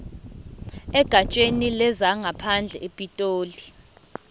egatsheni lezangaphandle epitoli